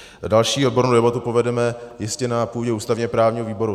Další odbornou debatu povedeme jistě na půdě ústavně-právního výboru.